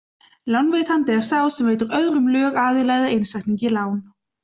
Lánveitandi er sá sem veitir öðrum lögaðila eða einstaklingi lán.